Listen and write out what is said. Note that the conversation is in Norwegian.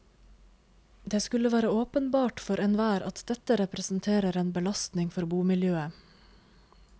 Det skulle være åpenbart for enhver at dette representerer en belastning for bomiljøet.